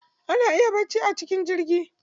Ana iya bacci a cikin jirgi.